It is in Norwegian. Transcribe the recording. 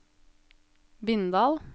Bindal